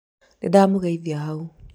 nĩndamũgeithia hau